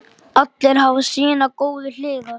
Allir hafa sínar góðu hliðar.